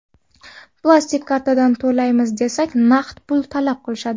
Plastik kartadan to‘laymiz desak, naqd pul talab qilishadi.